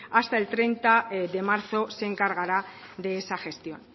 hasta el treinta de marzo se encargará de esta gestión